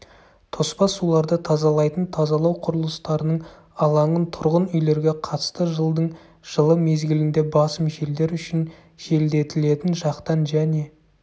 тоспа суларды тазалайтын тазалау құрылыстарының алаңын тұрғын үйлерге қатысты жылдың жылы мезгілінде басым желдер үшін желдетілетін жақтан және